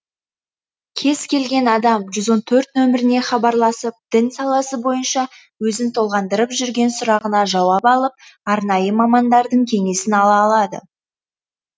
кез келген адам жүз он төрт номеріне хабарласып дін саласы бойынша өзін толғандырып жүрген сұрағына жауап алып арнайы мамандардың кеңесін ала алады